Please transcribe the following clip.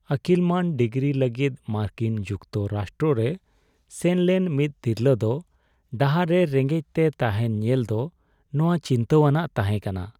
ᱟᱹᱠᱤᱞᱢᱟᱹᱱ degree ᱞᱟᱹᱜᱤᱫ ᱢᱟᱨᱠᱤᱱ ᱡᱩᱠᱛᱚᱨᱟᱥᱴᱨᱚ ᱨᱮ ᱥᱮᱱ ᱞᱮᱱ ᱢᱤᱫ ᱛᱤᱨᱞᱟᱹ ᱫᱚ ᱰᱟᱦᱟᱨ ᱨᱮ ᱨᱮᱸᱜᱮᱡᱽᱛᱮ ᱛᱟᱦᱮᱱ ᱧᱮᱞᱫᱚ ᱱᱚᱶᱟ ᱪᱤᱱᱛᱟᱹᱣᱟᱱᱟᱜ ᱛᱟᱦᱮᱸ ᱠᱟᱱᱟ ᱾